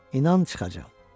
İnan, çıxacam.